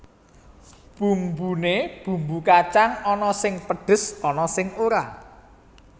Bumbune bumbu kacang ana sing pedhes ana sing ora